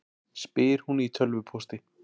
spyr hún í tölvupósti.